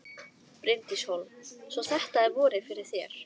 Bryndís Hólm: Svo þetta er vorið fyrir þér?